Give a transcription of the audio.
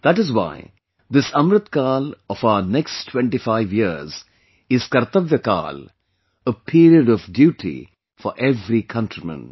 That is why this Amrit Kaal of our next 25 years is Kartavyakaal, a period of duty for every countryman